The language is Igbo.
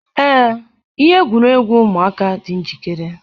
Ee, ihe egwuregwu ụmụaka dị njikere.